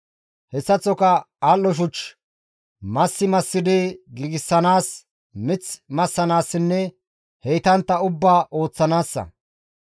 Hessaththoka al7o shuch massi massidi giigsanaas, mith massanaassinne heytantta ubbaa ooththanaassa.